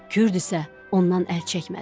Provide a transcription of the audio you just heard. Kürd isə ondan əl çəkmədi.